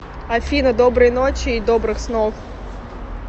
афина доброй ночи и добрых снов